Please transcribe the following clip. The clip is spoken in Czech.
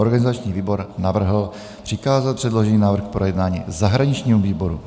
Organizační výbor navrhl přikázat předložený návrh k projednání zahraničnímu výboru.